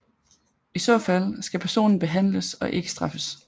I så fald skal personen behandles og ikke straffes